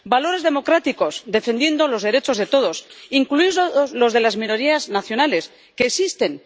valores democráticos y defensa de los derechos de todos, incluidos los de las minorías nacionales, que existen.